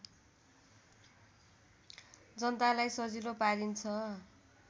जनतालाई सजिलो पारिन्छ